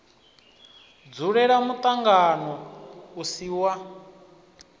dzulela muṱangano u si wa